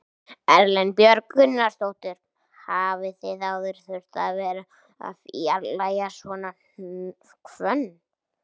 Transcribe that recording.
Erla Björg Gunnarsdóttir: Hafið þið áður þurft að vera að fjarlægja svona hvönn?